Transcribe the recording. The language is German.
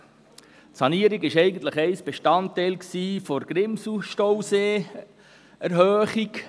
Die Sanierung war einst Bestandteil der Grimselstausee-Erhöhung.